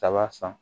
Daba san